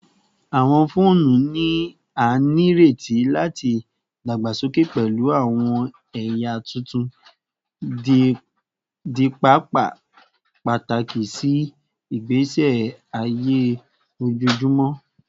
Awọn foonu ni a nireti lati dagbasoke pẹlu awọn ẹya tuntun, di paapaa pataki si igbesi aye ojoojumọ